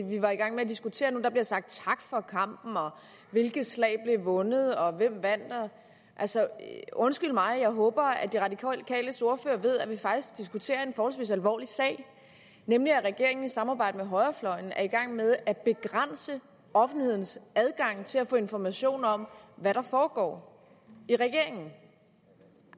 vi var i gang med at diskutere nu der blev sagt tak for kampen og hvilket slag der blev vundet og hvem der vandt hvad altså undskyld mig jeg håber at de radikales ordfører ved at vi faktisk diskuterer en forholdsvis alvorlig sag nemlig at regeringen i samarbejde med højrefløjen er i gang med at begrænse offentlighedens adgang til at få informationer om hvad der foregår i regeringen